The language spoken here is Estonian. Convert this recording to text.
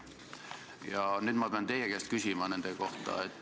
Ja nüüd ma pean teie käest küsima nende kohta.